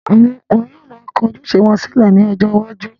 àwọn ọkùnrin yóò ma kọ ojúṣe wọn sílẹ̀ ní ọjọ́ iwájú.